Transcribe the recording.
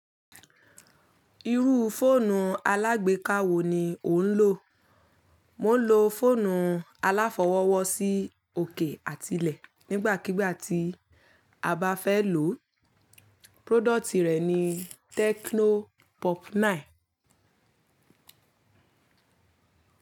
Irú fóònù alágbéka wo ni o ń lò? Mo ń lo fóònù aláfọwọ́wọ́ sí òkè àtilẹ̀ nígbàkigbà tí a bá fẹ́ lò. Prodọ̀tì rẹ̀ ni Tecno Pop Nine.